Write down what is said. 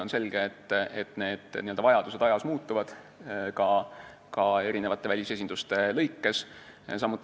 On selge, et vajadused muutuvad ajas ja ka välisesindustes.